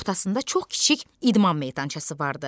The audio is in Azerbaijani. Ortasında çox kiçik idman meydançası vardı.